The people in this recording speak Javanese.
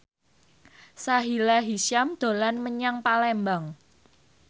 Sahila Hisyam dolan menyang Palembang